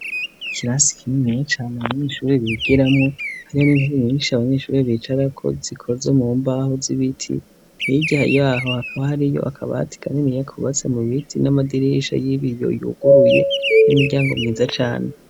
Ikirasi kikiniya cane abanyeshure bigiramwo, hamwe n'intebe nyinshi cane abanyeshure bicarako zikozwe mu mbaho z'ibiti. Hirya yaho hakaba hariyo akabati kaniniya kubatswe mu biti, n'amadirisha y'ibiyo yuguruye, n'imiryango myiza cane.